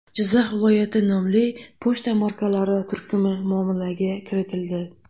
Jizzax viloyati” nomli pochta markalari turkumi muomalaga kiritildi.